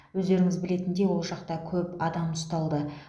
өздеріңіз білетіндей ол жақта көп адам ұсталды